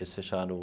Eles fecharam.